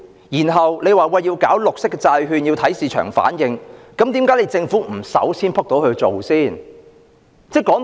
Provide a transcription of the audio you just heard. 然後政府又說，推出綠色債券要看市場反應，那麼政府為何不身先士卒去做呢？